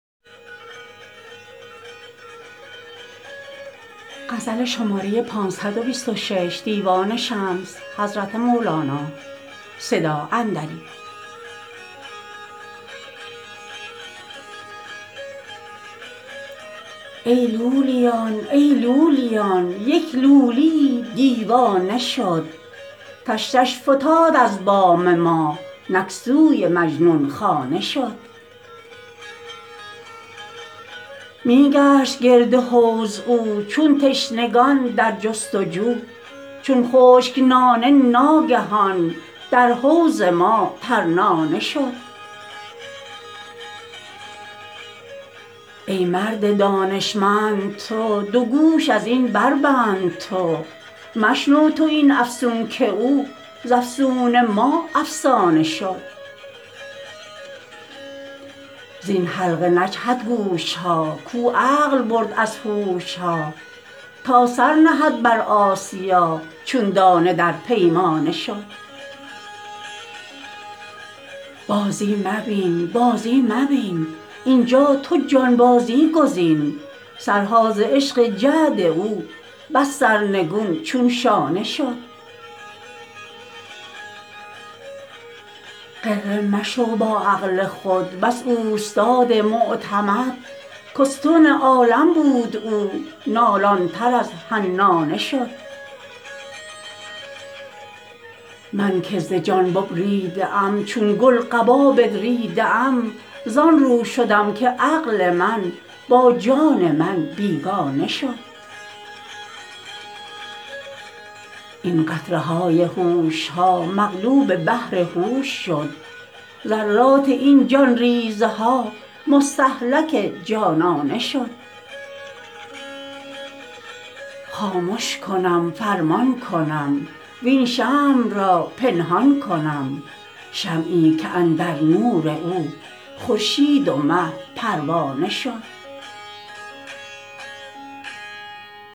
ای لولیان ای لولیان یک لولی یی دیوانه شد تشتش فتاد از بام ما نک سوی مجنون خانه شد می گشت گرد حوض او چون تشنگان در جست و جو چون خشک نانه ناگهان در حوض ما ترنانه شد ای مرد دانشمند تو دو گوش از این بربند تو مشنو تو این افسون که او ز افسون ما افسانه شد زین حلقه نجهد گوش ها کاو عقل برد از هوش ها تا سر نهد بر آسیا چون دانه در پیمانه شد بازی مبین بازی مبین اینجا تو جانبازی گزین سرها ز عشق جعد او بس سرنگون چون شانه شد غره مشو با عقل خود بس اوستاد معتمد که استون عالم بود او نالان تر از حنانه شد من که ز جان ببریده ام چون گل قبا بدریده ام زان رو شدم که عقل من با جان من بیگانه شد این قطره های هوش ها مغلوب بحر هوش شد ذرات این جان ریزه ها مستهلک جانانه شد خامش کنم فرمان کنم وین شمع را پنهان کنم شمعی که اندر نور او خورشید و مه پروانه شد